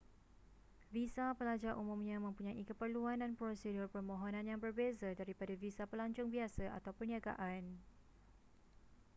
visa pelajar umumnya mempunyai keperluan dan prosedur permohonan yang berbeza daripada visa pelancong biasa atau perniagaan